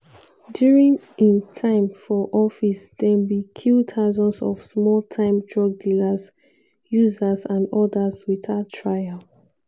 during im time for office dem bin kill thousands of small-time drug dealers users and odas without trial.